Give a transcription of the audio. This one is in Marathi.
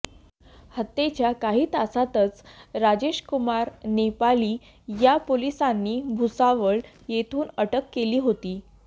हत्येच्या काही तासातच राजेशकुमार नेपाळी याला पोलिसांनी भुसावळ येथून अटक केली होती